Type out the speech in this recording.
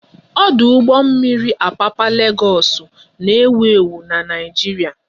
Ọdụ ụgbọ mmiri Apapa Legoosu n'ewu ewu n'Naijiria